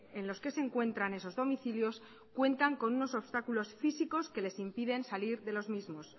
en los que se encuentran esos domicilios cuentan con unos obstáculos físicos que les impiden salir de los mismos